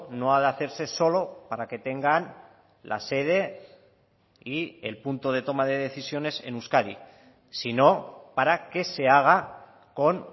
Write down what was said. no ha de hacerse solo para que tengan la sede y el punto de toma de decisiones en euskadi sino para que se haga con